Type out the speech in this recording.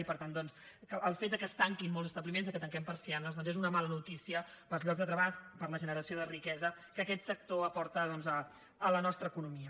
i per tant doncs el fet que es tanquin molts establiments que tanquem persianes doncs és una mala notícia per als llocs de treball per a la generació de riquesa que aquest sector aporta a la nostra economia